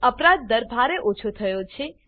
અપરાધ દર ભારે ઓછો થયો છે